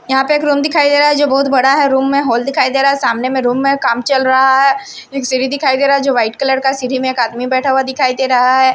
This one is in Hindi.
यहां पे एक रूम दिखाई दे रहा है जो बहुत बड़ा है रूम में हॉल दिखाई दे रहा है सामने में रूम में काम चल रहा है एक सीरी दिखाई दे रहा है जो वाइट कलर का सीरी में एक आदमी बैठा हुआ दिखाई दे रहा है।